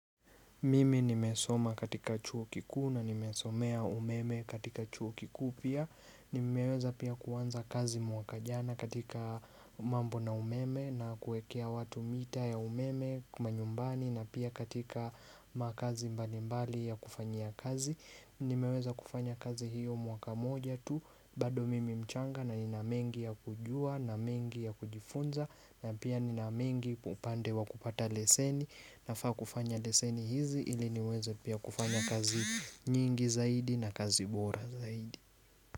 Mimi nimesoma katika chuo kikuu na nimesomea umeme katika chuo kikuu pia Nimeweza pia kuanza kazi mwaka jana katika mambo na umeme na kuwekea watu mita ya umeme kwa manyumbani na pia katika makazi mbalimbali ya kufanyia kazi Nimeweza kufanya kazi hiyo mwaka moja tu bado mimi mchanga na nina mengi ya kujua na mengi ya kujifunza na pia nina mengi upande wa kupata leseni nafaa kufanya leseni hizi ili niweze pia kufanya kazi nyingi zaidi na kazi bora zaidi.